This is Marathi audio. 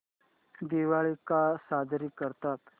दिवाळी का साजरी करतात